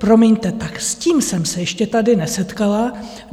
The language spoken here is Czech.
Promiňte, tak s tím jsem se ještě tady nesetkala.